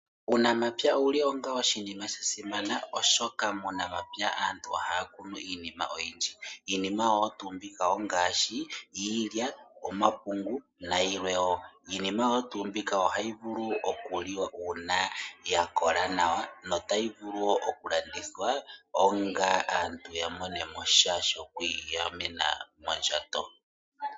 Uunamapya owuli onga oshinima sha simana oshoka muunamapya aantu ohaya kunu iinima oyindji. Iinima oyo tuu mbika ongaashi iilya ,omapungu nayilwe wo. Iinima oyo tuu mbika ohayi vulu okuliwa uuna ya kola nawa notayi vulu woo okulandithwa opo aantu ya mone mo sha shomondjato.